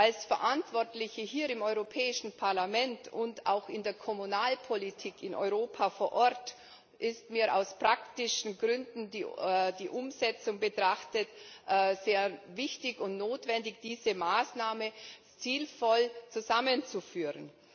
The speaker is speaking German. Als Verantwortliche hier im Europäischen Parlament und auch in der Kommunalpolitik in Europa vor Ort ist mir aus praktischen Gründen, die Umsetzung betrachtend, sehr wichtig und notwendig, diese Maßnahmen sinnvoll zusammenzuführen.